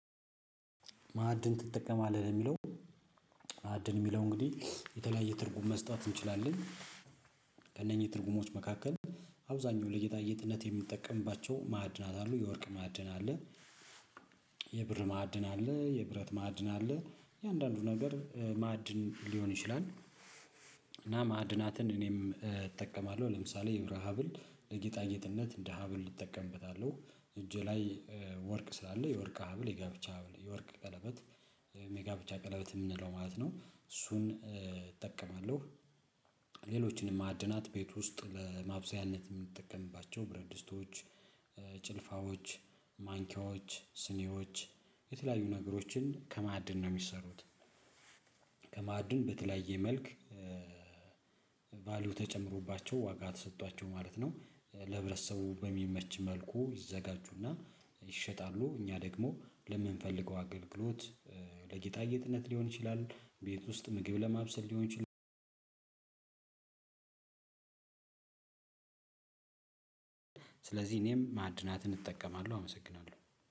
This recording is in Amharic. ማዕድን ትጠቀማለህ ለሚለው ማዕድን የሚለው እንግዲህ የተለያየ ትርጉም መስጠት እንችላለን። ከእነኚህ ትርጉሞች መካከል አብዛኛው ለጌጣጌጥነት የምንጠቀምባቸው ማዕድናት አሉ የወርቅ ማዕድን አለ የብር ማዕድን አለ የብረት ማዕድን አለ የአንዳንዱ ነገር ማዕድን ሊሆን ይችላል። እና ማዕድናትን እኔም እጠቀማለሁ ለምሳሌ የብር ሀብል ለጌጣጌጥነት እንደ ሀብል እጠቀምበታለሁ እጄ ላይ ወርቅ ስላለ የወርቅ ሀብል የጋብቻ ሀብል የወርቅ ቀለበት ሜጋ ብቻ ቀለበት የምንለው ማለት ነው እሱን እጠቀማለሁ። ሌሎችንም ማዕድናት ቤት ውስጥ ለማብሰያነት የምንጠቀምባቸው ብረት ድስቶች ጭልፋዎች ማንኪያዎች ስኒዎች የተለያዩ ነገሮችን ከማዕድን ነው የሚሰሩት። ከማዕድን በተለያየ መልክ ቫልዩ ተጨምሮባቸው ዋጋ ተሰጥቷቸው ማለት ነው። ለህብረተሰቡ በሚመች መልኩ ይዘጋጁና ይሸጣሉ። እኛ ደግሞ ለምንፈልገው አገልግሎት ለጌጣ ጌጥነት ሊሆን ይችላል ቤት ውስጥ ምግብ ለማብሰል ሊሆን ይችላል። ስለዚህ እኔም ማዕድናትን እጠቀማለሁ አመሰግናለሁ።